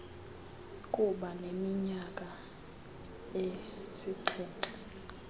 kuba neminyaka esixhenxe